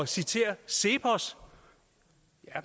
citere cepos